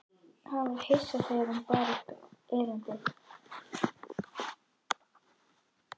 Hann var hissa þegar hún bar upp erindið.